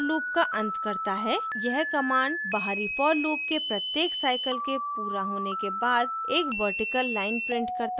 यह command बाहरी for loop के प्रत्येक cycle के पूरा होने के बाद एक वर्टिकल line prints करता है